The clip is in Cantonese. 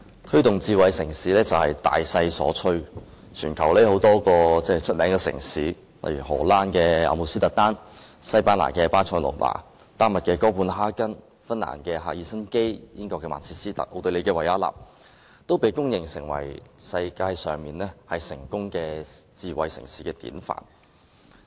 推動智慧城市發展是大勢所趨，全球有多個出名城市，例如荷蘭阿姆斯特丹、西班牙巴塞隆那、丹麥哥本哈根、芬蘭赫爾辛基、英國曼徹斯特、奧地利維也納，均被公認為世界上成功的智慧城市典範。